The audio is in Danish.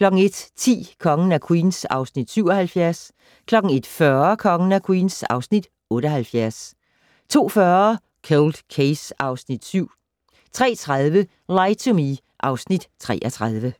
01:10: Kongen af Queens (Afs. 77) 01:40: Kongen af Queens (Afs. 78) 02:40: Cold Case (Afs. 7) 03:30: Lie to Me (Afs. 33)